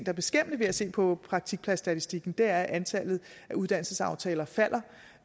er beskæmmende ved at se på praktikpladsstatistikken er at antallet af uddannelsesaftaler falder